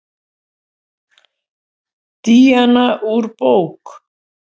Díana úr bók.